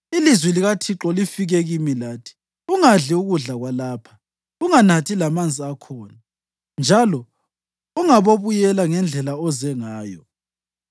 Ilizwi likaThixo lifike kimi lathi, ‘Ungadli ukudla kwalapha, unganathi lamanzi akhona njalo ungabobuyela ngendlela oze ngayo.’ ”